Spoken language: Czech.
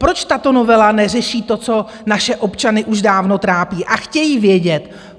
Proč tato novela neřeší to, co naše občany už dávno trápí a chtějí vědět?